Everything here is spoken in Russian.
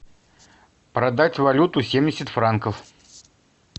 продать валюту семьдесят франков